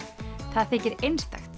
það þykir einstakt